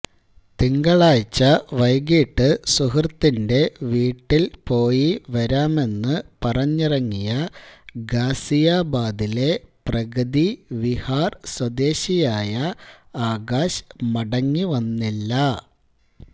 തിങ്കളാഴ്ച വൈകീട്ട് സുഹൃത്തിന്റെ വീട്ടില് പോയി വരാമെന്ന് പറഞ്ഞിറങ്ങിയ ഗാസിയാബാദിലെ പ്രഗതി വിഹാര് സ്വദേശിയായ ആകാശ് മടങ്ങി വന്നില്ല